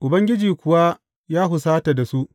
Ubangiji kuwa ya husata da su.